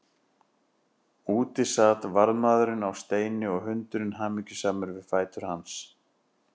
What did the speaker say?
Úti sat varðmaðurinn á steini og hundurinn hamingjusamur við fætur hans.